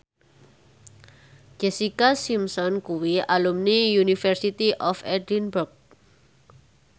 Jessica Simpson kuwi alumni University of Edinburgh